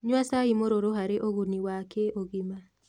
Nyua cai mũruru harĩ ũguni wa kĩ ũgima